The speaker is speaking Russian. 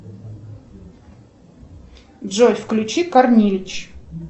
джой включи корнилич